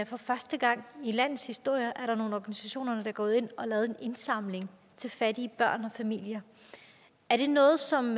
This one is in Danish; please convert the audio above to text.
for første gang i landets historie er der nogle organisationer der er gået ind og har lavet en indsamling til fattige børn og familier er det noget som